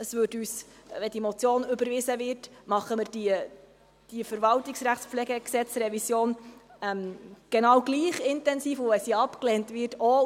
Wenn die Motion überwiesen wird, machen wir die VRPG-Revision genau gleich intensiv, und wenn sie abgelehnt wird, auch.